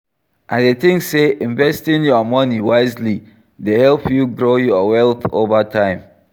I dey think say investing your money wisely dey help you grow your wealth over time.